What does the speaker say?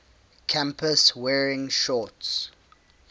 campus wearing shorts